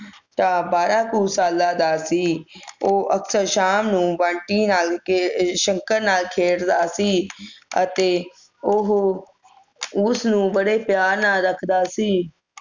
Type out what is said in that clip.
ਬਾਰਾਂ ਕੁ ਸਾਲਾਂ ਦਾ ਸੀ ਉਹ ਅਕਸਰ ਸ਼ਾਮ ਨੂੰ ਬੰਟੀ ਨਾਲ ਅਹ ਸ਼ੰਕਰ ਨਾਲ ਖੇਡਦਾ ਸੀ ਅਤੇ ਉਹੋ ਉਸ ਨੂੰ ਬੜੇ ਪਿਆਰ ਨਾਲ ਰੱਖਦਾ ਸੀ